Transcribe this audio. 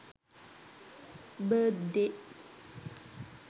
birthday